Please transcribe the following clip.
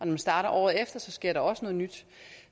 man starter året efter sker der også noget nyt